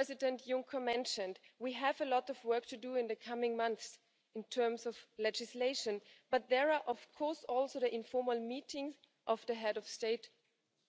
term. As President Juncker mentioned, we have a lot of work to do in the coming months with regard to legislation, but there are also the informal meetings of the Heads of State